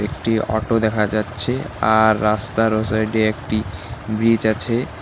একটি অটো দেখা যাচ্ছে আর রাস্তার ও সাইড এ একটি ব্রিজ আছে।